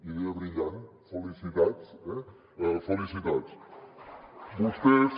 idea brillant felicitats eh felicitats